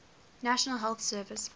national health service